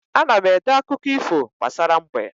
Ana m ede akụkọ ifo gbasara mbe